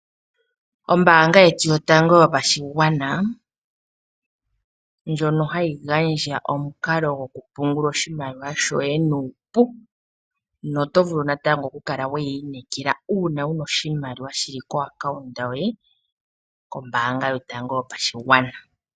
Ombaanga yetu yotango yopashigwana ndjono hayi gandja omukalo gwokupungula oshimaliwa shoye nuupu na otovulu natango okuyi inekela uuna wuna oshimaliwa shili kokambo koye kombaanga yotango yopashigwana.